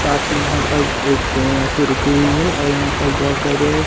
साथ मैं यहाँ पर एक ट्रेन आके रुकी हुई हैं और यहाँ पर बहोत सारे--